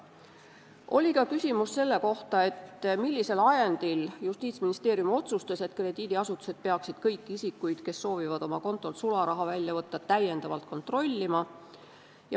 Oli ka küsimus selle kohta, millisel ajendil Justiitsministeerium otsustas, et krediidiasutused peaksid kõiki isikuid, kes soovivad oma kontolt sularaha välja võtta, täiendavalt kontrollima.